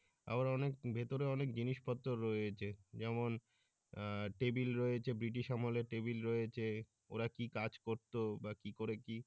আবার অনেক ভিতরে অনেক জিনিস পত্রও রয়েছে যেমন আহ টেবিল রয়েছে বৃটিশ আমলের টেবিল রয়েছে ওরা কি কাজ করতো বা কি করে কি।